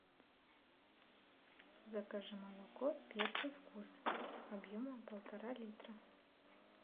закажи молоко первый вкус объемом полтора литра